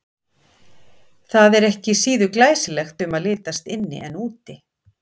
Það er ekki síður glæsilegt um að litast inni en úti.